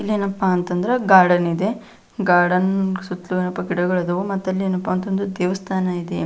ಇಲ್ಲಿ ಏನಪ್ಪಾ ಅಂತಂದ್ರ ಗಾರ್ಡನ್ ಇದೆ ಗಾರ್ಡನ್ ಸುತ್ತಲೂ ಏನಪ್ಪಾ ಗಿಡಗಳು ಇದಾವು ಮತ ಏನಪ್ಪಾ ಅಂತಾದ್ರ ದೇವಸ್ಥಾನ ಇದೆ.